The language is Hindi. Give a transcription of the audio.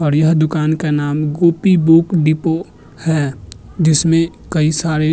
और यह दूकान का नाम गोपी बुक डिपो है जिसमें कई सारे--